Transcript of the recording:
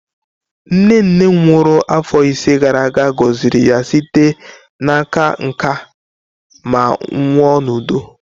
Nne nne m nwụrụ afọ ise gara aga, gọziri ya site n'aka nká ma nwụọ n'udo.